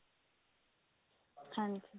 ਹਾਂਜੀ